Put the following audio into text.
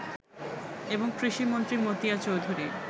এবং কৃষিমন্ত্রী মতিয়া চৌধুরী